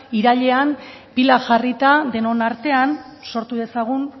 irailean pilak jarrita denon artean sortu dezagun